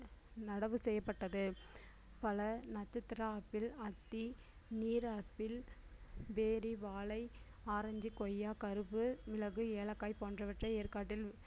நடவு செய்யப்பட்டது பல நட்சத்திர ஆப்பிள், அத்தி, நீர் ஆப்பிள், பேரி, வாழை, ஆரஞ்சு, கொய்யா, கரும்பு, மிளகு, ஏலக்காய் போன்றவற்றை ஏற்காட்டில்